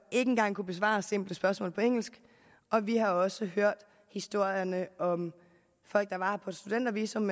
ikke engang kunne besvare simple spørgsmål på engelsk og vi har også hørt historierne om at folk der var her på et studentervisum